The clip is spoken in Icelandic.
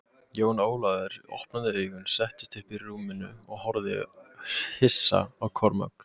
Jón Ólafur opnaði augun, settist upp í rúminu og horfði hissa á Kormák.